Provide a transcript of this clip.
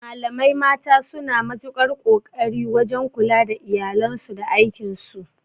Malamai mata suna matukar ƙoƙari wajan kula da iyalansu da aikin su